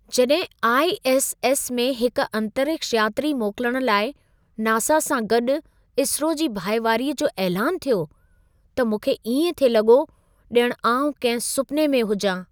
जॾहिं आई.एस.एस. में हिक अंतरिक्ष यात्री मोकिलण लाइ नासा सां गॾु इसरो जी भाईवारीअ जो ऐलानु थियो, त मूंखे इएं थिए लॻो ॼणु आउं कंहिं सुपने में हुजां।